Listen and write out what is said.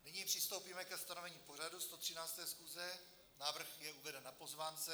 Nyní přistoupíme ke stanovení pořadu 113. schůze, návrh je uveden na pozvánce.